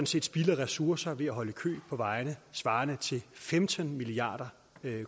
set spilder ressourcer ved at holde i kø på vejene svarende til femten milliard